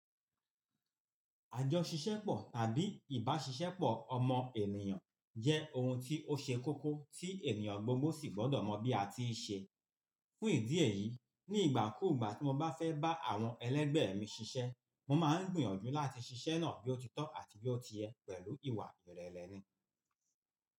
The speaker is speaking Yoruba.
Àjọ ṣíṣẹ́pọ̀ tàbí ìbáṣisẹ́pọ̀ ọmọ ènìyàn jẹ́ ohun tí ó ṣe kókó tí ènìyàn gbogbo sì gbọ́dọ̀ mọ bí a ti ṣe. Fún ìdí èyí, ní ìgbà kú ìgbà tí mo bá fẹ́ bá àwọn ẹlẹgbẹ́ mi ṣiṣẹ́, mo máa ń gbìyànjú láti ṣiṣẹ́ náà bí ó ti tọ́ àti bí ó ti yẹ pẹ̀lú ìwà ìrẹlẹni.